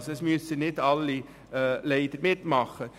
Leider müssen nicht alle mitmachen.